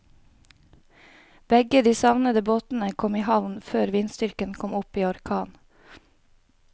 Begge de savnede båtene kom i havn før vindstyrken kom opp i orkan.